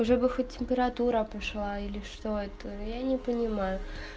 уже хоть бы температура пошла или что это я не понимаю